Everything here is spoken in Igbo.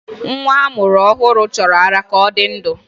Nwa a mụrụ ọhụrụ chọrọ ara ka ọ dị ndụ